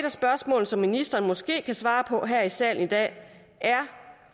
af spørgsmålene som ministeren måske kan svare på her i salen i dag